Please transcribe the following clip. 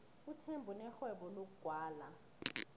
uthemba unerhwebo lokugwala